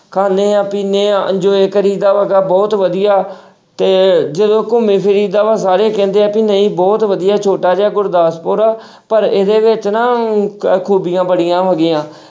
ਖਾਂਦੇ ਹਾਂ, ਪੀਂਦੇ ਹਾਂ enjoy ਕਰੀਦਾ ਹੈਗਾ ਬਹੁਤ ਵਧੀਆ ਤੇ ਜਦੋਂ ਘੁੰਮੀ ਫਿਰੀਦਾ ਵਾ ਸਾਰੇ ਕਹਿੰਦੇ ਆ ਵੀ ਨਹੀਂ ਬਹੁਤ ਵਧੀਆ ਛੋਟਾ ਜਿਹਾ ਗੁਰਦਾਸਪੁਰ ਆ ਪਰ ਇਹਦੇ ਵਿੱਚ ਨਾ ਖੂਬੀਆਂ ਬੜੀਆਂ ਹੈਗੀਆਂ,